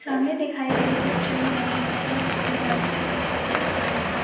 सामने दिखाई गयी पिक्चर में बहोत सी ज्यादा छोटी छोटी घास है।